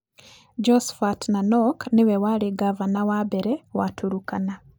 Josphat Nanok nĩwe warĩ ngavana wa mbere wa Turkana.